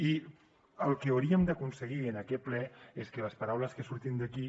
i el que hauríem d’aconseguir en aquest ple és que les paraules que surtin d’aquí